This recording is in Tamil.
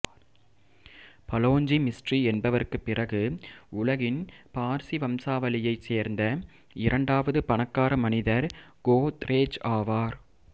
பலோஞ்ஜி மிஸ்ட்ரி என்பவருக்குப் பிறகு உலகின் பார்சி வம்சாவளியை சேர்ந்த இரண்டாவது பணக்கார மனிதர் கோத்ரேஜ் ஆவார்